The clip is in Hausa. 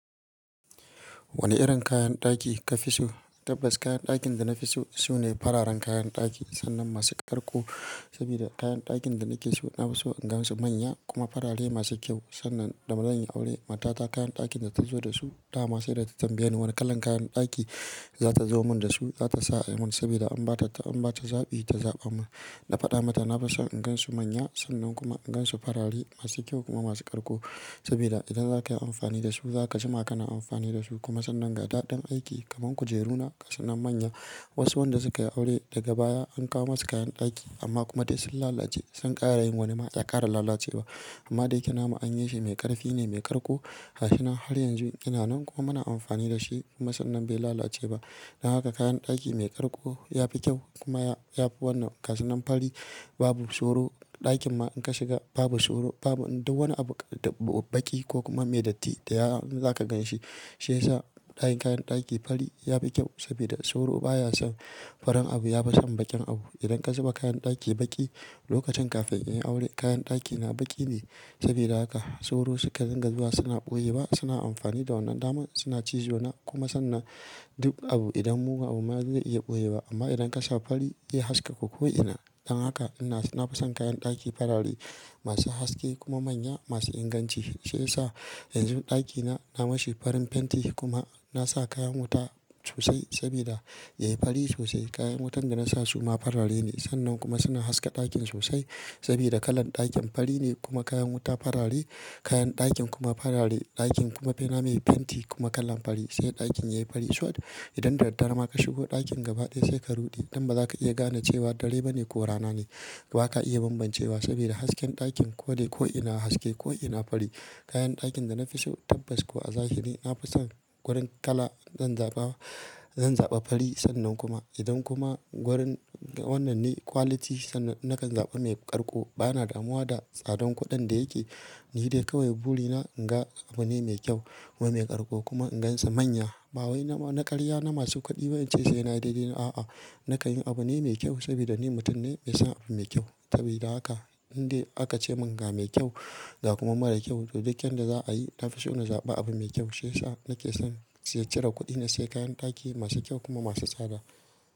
Wane irin kayan ɗaki ka fi so? Tabbas kayan ɗakin da na fi so su ne fararen kayan ɗaki sannan masu karko. Saboda kayan ɗakin da nake so, na fi so in gan su manya kuma farare masu kyau. Sannan da ma zanyi aure, matata kayan ɗakin da ta zo da su dama sai da ta tambaye ni wane kalan kayan ɗaki za ta zo mun da su, za ta sa ayi mun. Saboda in ba ta, an ba ta zaɓi ta zaɓa mun. Na faɗa mata na fison in gan su manya sannan kuma in gan su farare masu kyau kuma masu karko. Saboda idan za ka yi amfani da su, za ka ji ma kana amfani da su. Kuma sannan ga daɗin aiki kaman kujeruna gasunan manya. Wasu wanda suka yi aure daga baya an kawo masu kayan ɗaki amma kuma duk sun lalace, sun ƙara yin wani ma ya ƙara lalace ba. Amman dayake namu anyi shi mai ƙarfi ne mai ƙarko. Gashinan har yanzu yana nan kuma muna amfani da shi kuma sannan bai lalace ba. Dan haka kayan ɗaki mai ƙarko ya fi kyau kuma ya fi wannan kashinan fari. Babu soro, ɗakin ma in ka shiga babu soro, babu duk wani abu da baƙi ko kuma mai datti daya inza ka ganshi. Shi yasa kayan ɗaki fari ya fi kyau saboda soro baya son, farin abu ya fi son baƙin abu. Idan ka zuba kayan ɗaki baƙi lokacin kafin in yi aure, kayan ɗakina baƙi ne. Saboda haka soro suka dinga zuwa suna ɓoye wa suna amfani da wannan dama suna cizo na kuma sannan duk abu idan mugu abu mayazo zai iya ɓoye ba. Amma idan ka sa fari, zai haska ka ko'ina. Dan haka ina, na fason kayan ɗaki farare masu haske kuma manya, masu inganci. Shi yasa yanzu ɗakina, na mashi farin fenti kuma na sa kayan wuta sosai saboda yayi fari sosai. Kayan wutan da na sa suma farare ne sannan kuma suna haska ɗakin sosai saboda kalar ɗakin fari ne kuma kayan wuta farare, kayan ɗakin kuma farare, ɗakin kuma bena mai fenti kuma kalan fari sai ɗakin yayi fari. To idanda dad dare ma ka shigo ɗakin gabaɗaya sai ka ruɗe. Dan baza ka iya gane cewa dare bane ko rana ne. Baka iya bambancewa saboda hasken ɗakin ko dai ko'ina haske ko'ina fari. Kayan ɗakin da na fi so tabbas kuwa a zahiri, na fason gurin kala zan zaɓa, zan zaɓa fari sannan kuma idan kuma gurin wannan ne quality sannan nakan zaɓa mai ƙarko. Bana damuwa da tsadan kuɗin da yake, ni dai kawai buri na in ga abu ne mai kyau kuma mai ƙarko kuma in gansa manya. Ba wai na ƙarya na masu kuɗi ba in ce sai na yi dai-dai na a'a. Nakan yi abu ne mai kyau saboda ni mutum ne mai son abu mai kyau. Sabida haka in dai aka ce mun ga me kyau, ga kuma marar kyau to duk yanda za a yi, na fi so na zaɓi abu mai kyau. Shi yasa nake son cire kuɗi na saye kayan ɗaki masu kyau kuma masu tsada.